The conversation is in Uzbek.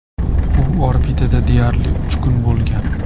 U orbitada deyarli uch kun bo‘lgan.